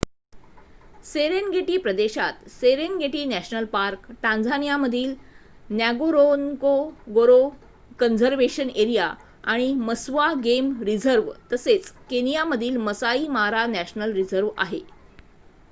Serengeti प्रदेशात Serengeti national park टांझानियामधील Ngorongoro conservation area आणि मस्वा गेम रिझर्व तसेच केनियामधील मसाई मारा नॅशनल रिझर्व आहे